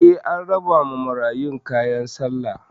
Eh, an rabawa marayun kayan sallah